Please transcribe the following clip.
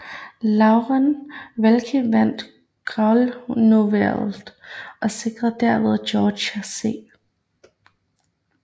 Laureen Wallace vandt guvernørvalget og sikrede derved George C